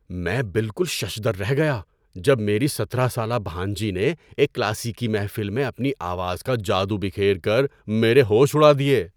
میں بالکل ششدر رہ گیا جب میری سترہ سالہ بھانجی نے ایک کلاسیکی محفل میں اپنی آواز کا جادو بکھیر کر میرے ہوش اڑا دیے۔